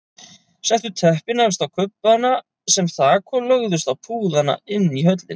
Settu teppin efst á kubbana sem þak og lögðust á púðana inni í höllinni.